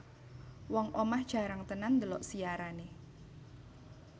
Wong omah jarang tenan ndelok siarane